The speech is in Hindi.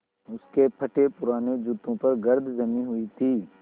उसके फटेपुराने जूतों पर गर्द जमी हुई थी